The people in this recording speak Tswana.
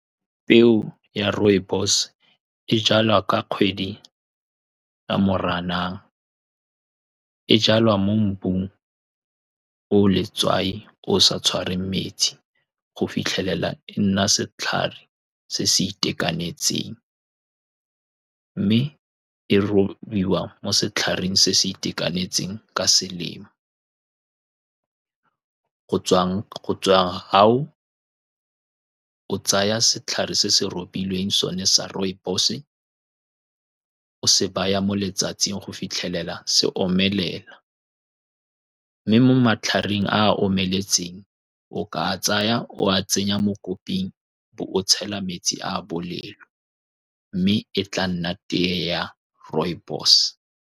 Peo ya rooibos-e e jalwa ka kgwedi ya moranang. E jalwa mo mmung oo letswai oo sa tshwareng metsi, go fitlhelela e nna setlhare se se itekanetseng, mme e robiwa mo setlhareng se se itekanetseng ka selemo, go tswang go tswang fao o tsaya setlhare se se robilweng sone sa rooibos-e, o se baya mo letsatsing go fitlhelela se omelela, mme mo matlhareng a a omeletseng, o ka a tsaya o a tsenya mo koping, o bo o tshela metsi a a bolelo, mme e tla nna tea ya rooibos-e.